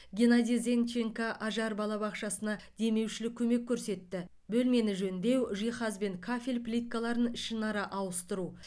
геннадий зенченко ажар балабақшасына демеушілік көмек көрсетті бөлмені жөндеу жиһаз бен кафель плиткаларын ішінара ауыстыру